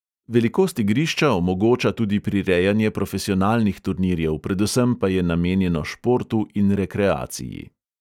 Velikost igrišča omogoča tudi prirejanje profesionalnih turnirjev, predvsem pa je namenjeno športu in rekreaciji.